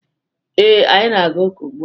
Ee, anyị na-aga ụka ugbua.